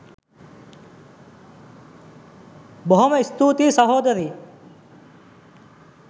බොහොම ස්තුතියි සහෝදරී